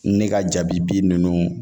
Ne ka jabi bin ninnu